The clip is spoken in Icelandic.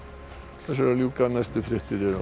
þessu er að ljúka næstu fréttir eru